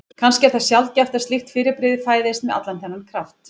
Kannski er það sjaldgæft að slíkt fyrirbrigði fæðist með allan þennan kraft.